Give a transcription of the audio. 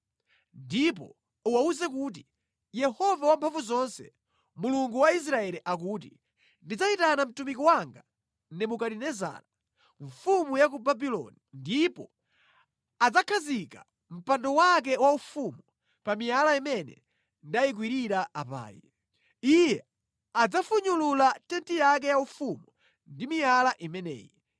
Ndipo uwawuze kuti, ‘Yehova Wamphamvuzonse, Mulungu wa Israeli akuti: Ndidzayitana mtumiki wanga Nebukadinezara mfumu ya ku Babuloni, ndipo adzakhazika mpando wake waufumu pa miyala imene ndayikwirira apayi. Iye adzafunyulula tenti yake yaufumu pa miyala imeneyi.